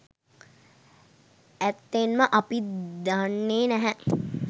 ඇත්තෙන්ම අපි දන්නේ නැහැ.